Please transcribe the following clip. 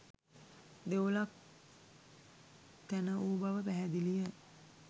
දෙවොලක් තැන වූ බව පැහැදිලිය.